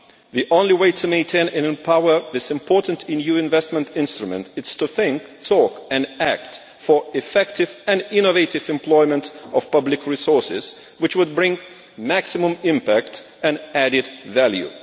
The only way to meet and empower this important EU investment instrument is to think, talk and act for effective and innovative employment of public resources, which would bring maximum impact and added value.